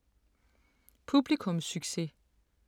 Publikumssucces